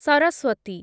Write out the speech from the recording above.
Saraswati